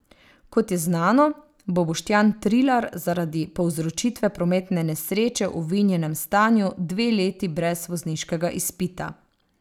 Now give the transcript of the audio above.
Kot je znano, bo Boštjan Trilar zaradi povzročitve prometne nesreče v vinjenem stanju dve leti brez vozniškega izpita.